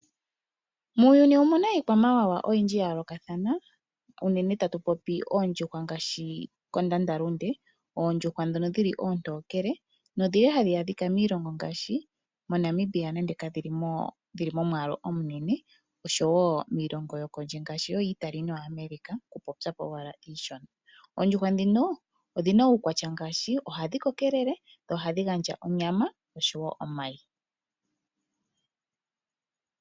Muuyuni omu na iikwamawawa oyindji ya yoolokathana. Unene tatu popi oondjuhwa kondandalunde. Oondjuhwa ndhono oontokele nodhi li hadhi adhika miilongo ngaashi moNamibia nonande kadhi mo momwaalu omunene, oshowo kiilongo miilongo yokondje ngaashi yooItali nooAmerica okupopya po owala iishona. Oondjuhwa ndhino odhi na uukwatya ngaashi: ohadhi kokekelele dho ohadhi gandja onyama noshowo omayi.